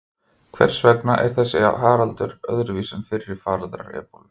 Hvers vegna er þessi faraldur öðruvísi en fyrri faraldrar ebólu?